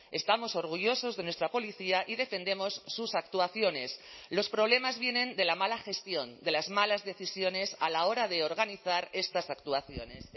estamos orgullosos de nuestra policía y defendemos sus actuaciones los problemas vienen de la mala gestión de las malas decisiones a la hora de organizar estas actuaciones